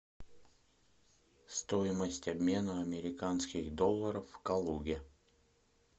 стоимость обмена американских долларов в калуге